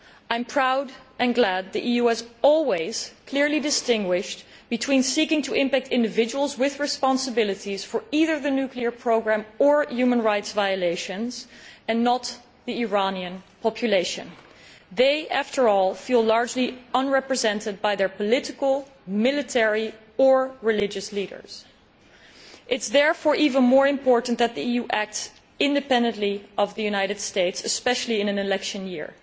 I am proud and glad that the EU has always clearly distinguished between seeking to impact individuals with responsibilities for either the nuclear programme or human rights violations, but not the Iranian population. They, after all, feel largely unrepresented by their political, military or religious leaders. It is therefore even more important that the EU acts independently of the United States, especially in an election year.